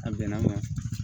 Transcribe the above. A bɛnna ma